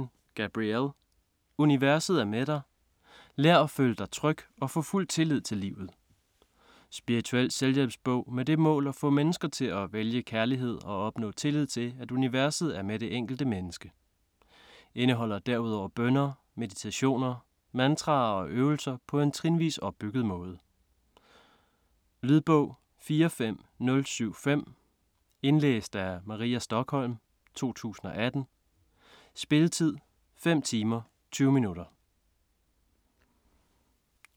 Bernstein, Gabrielle: Universet er med dig: lær at føle dig tryg og få fuld tillid til livet Spirituel selvhjælpsbog med det mål at få mennesker til at vælge kærligheden og opnå tillid til, at universet er med det enkelte menneske. Indeholder derudover bønner, meditationer, mantraer og øvelser på en trinvis opbygget måde. Lydbog 45075 Indlæst af Maria Stokholm, 2018. Spilletid: 5 timer, 20 minutter.